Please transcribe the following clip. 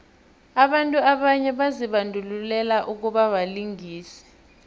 abantu abanye bazibandulele ukubabalingisi